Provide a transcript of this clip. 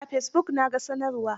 Eh, a fesibuk na ga sanarwar.